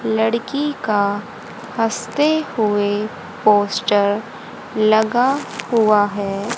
लड़की का हंसते हुए पोस्टर लगा हुआ है।